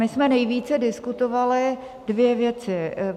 My jsme nejvíce diskutovali dvě věci.